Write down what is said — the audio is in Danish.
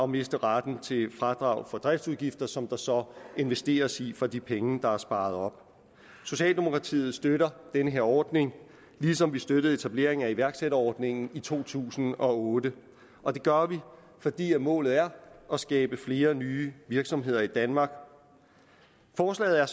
miste retten til fradrag for driftsudgifter som der så investeres i for de penge der er sparet op socialdemokratiet støtter den her ordning ligesom vi støttede etableringen af iværksætterordningen i to tusind og otte og det gør vi fordi målet er at skabe flere nye virksomheder i danmark forslaget er